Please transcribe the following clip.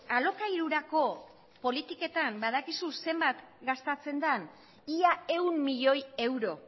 alokairurako politiketan badakizu zenbat gastatzen den ia ehun milioi euro